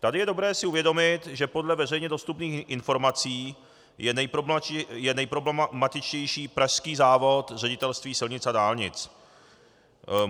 Tady je dobré si uvědomit, že podle veřejně dostupných informací je nejproblematičtější pražský závod Ředitelství silnic a dálnic.